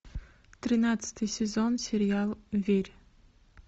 тринадцатый сезон сериал верь